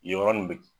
Yen yɔrɔ nin be